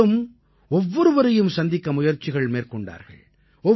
அவர்களும் ஒவ்வொருவரையும் சந்திக்க முயற்சி மேற்கொண்டார்கள்